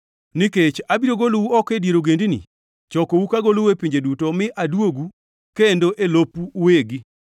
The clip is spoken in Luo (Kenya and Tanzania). “ ‘Nikech abiro golou oko e dier ogendini; chokou kagolou e pinje duto mi aduogu kendo e lopu uwegi.